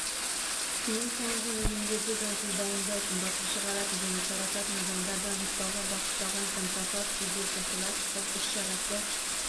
тыйым салынған өнімдерді заңсыз дайындайтын басып шығаратын және тарататын адамдарды анықтауға бағытталған контрафакт жедел-профилактикалық іс-шарасы